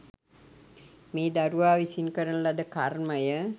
මේ දරුවා විසින් කරන ලද කර්මය